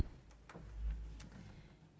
så